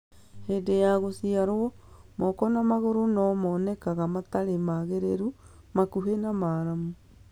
Hĩndĩ ya gũciarwo, moko na magũrũ no monekane matarĩ magĩrĩru, makuhĩ na maramu